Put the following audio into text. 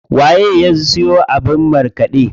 Waye ya siyo abin markaɗe?